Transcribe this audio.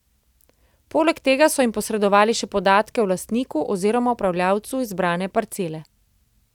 Poleg tega so jim posredovali še podatke o lastniku oziroma upravljavcu izbrane parcele.